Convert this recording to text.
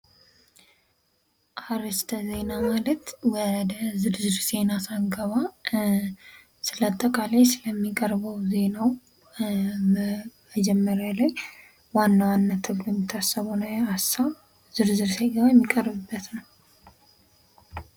አርእስት ዜና ማለት ወደ ዝርዝር ዜና ሳንገባ አጠቃላይ ስለሚቀርበው ዜናው መጀመሪያ ላይ ዋና ዋና ተብሎ የሚታሰበውን ሐሳብ ዝርዝር ዜናመረጃ የሚቀርብበት ነው።